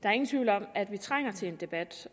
er ingen tvivl om at vi trænger til en debat